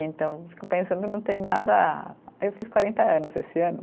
Então, fico pensando, não tem nada. Eu fiz quarenta anos esse ano.